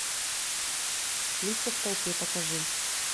лица в толпе покажи